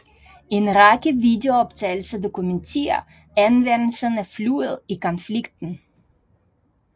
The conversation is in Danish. En række videooptagelser dokumenterer anvendelsen af flyet i konflikten